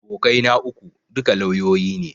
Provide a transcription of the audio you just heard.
Abokai na uku, duka lauyoyi ne